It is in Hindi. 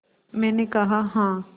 मैंने कहा हाँ